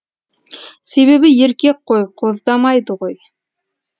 себебі еркек қой қоздамайды ғой